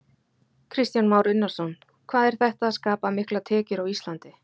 Kristján Már Unnarsson: Hvað er þetta að skapa miklar tekjur á Íslandi?